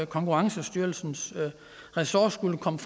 konkurrencestyrelsens ressort skulle komme